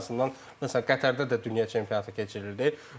Ən azından məsələn Qətərdə də dünya çempionatı keçirildi.